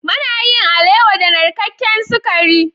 Mana yin alewa da narkaken sakari.